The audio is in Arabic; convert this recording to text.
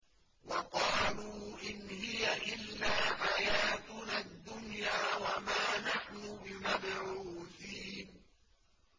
وَقَالُوا إِنْ هِيَ إِلَّا حَيَاتُنَا الدُّنْيَا وَمَا نَحْنُ بِمَبْعُوثِينَ